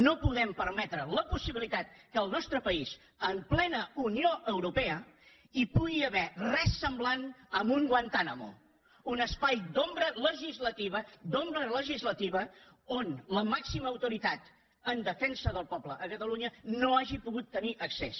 no podem permetre la possibilitat que en el nostre país en plena unió europea hi pugui haver res semblant a un guantánamo un espai d’ombra legislativa d’ombra legislativa on la màxima autoritat en defensa del poble a catalunya no hagi pogut tenir accés